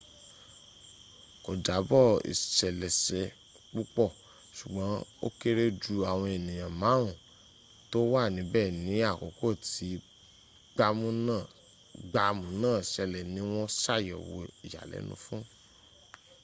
kò jábọ̀ ìṣeléṣe púpọ̀ ṣùgbọ́n ó kéré jù àwọn ènìyàn márùn tó wà níbẹ̀ ní àkókò tí gbàmù náà ṣẹlẹ̀ ní wọ́n ṣàyẹ̀wò ìyàlẹ́nu fún